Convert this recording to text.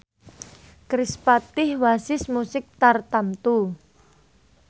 kerispatih wasis musik tartamtu